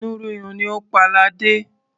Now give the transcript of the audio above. Inú rírun ni ó pa ladé.